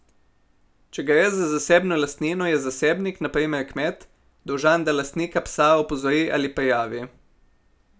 Če gre za zasebno lastnino, je zasebnik, na primer kmet, dolžan, da lastnika psa opozori ali prijavi.